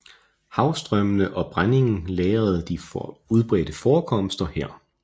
Havstrømmende og brændingen lagrede de udbredte forekomster her